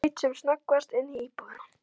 Leit sem snöggvast inn í íbúðina.